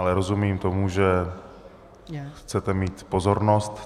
Ale rozumím tomu, že chcete mít pozornost.